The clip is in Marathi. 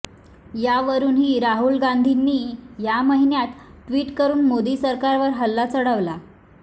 यावरूनही राहुल गांधींनी या महिन्यात ट्विट करुन मोदी सरकारवर हल्ला चढवला